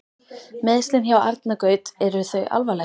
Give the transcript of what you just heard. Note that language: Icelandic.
Meiðslin hjá Árna Gaut eru þau alvarleg?